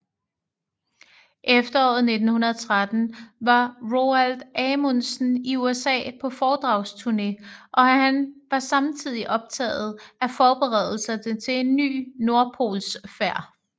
Efteråret 1913 var Roald Amundsen i USA på foredragsturne og han var samtidig optaget af forberedelserne til en ny nordpolsfærd